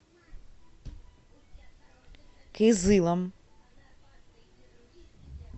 кызылом